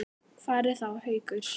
Hvar er þá Haukur?